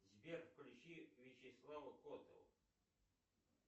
сбер включи вячеслава котова